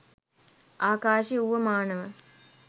ආකාශය වුව මානව